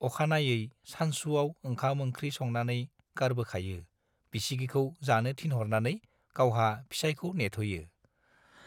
अखानायै सानसुआव ओंखाम-ओंखि संनानै गारबोखायो बिसिगिखौ जानो थिनहरनानै गावहा फिसाइखौ नेथ'यो।